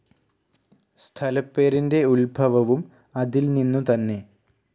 സ്ഥലപ്പേരിന്റെ ഉൽഭവവും അതിൽനിന്നു തന്നെ.